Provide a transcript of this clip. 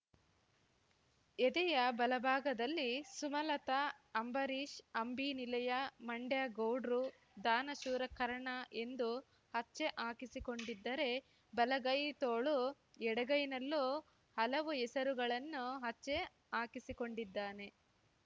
ಎದೆಯ ಬಲಭಾಗದಲ್ಲಿ ಸುಮಲತಾ ಅಂಬರೀಶ್‌ ಅಂಬಿ ನಿಲಯ ಮಂಡ್ಯ ಗೌಡ್ರು ದಾನಶೂರ ಕರ್ಣ ಎಂದು ಹಚ್ಚೆ ಹಾಕಿಸಿಕೊಂಡಿದ್ದರೆ ಬಲಗೈ ತೋಳು ಎಡಗೈನಲ್ಲೂ ಹಲವು ಹೆಸರುಗಳನ್ನು ಹಚ್ಚೆ ಹಾಕಿಸಿಕೊಂಡಿದ್ದಾನೆ